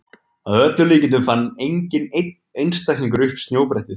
Að öllum líkindum fann enginn einn einstaklingur upp snjóbrettið.